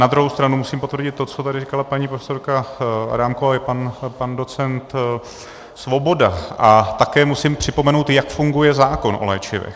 Na druhou stranu musím potvrdit to, co tady říkala paní profesorka Adámková i pan docent Svoboda, a také musím připomenout, jak funguje zákon o léčivech.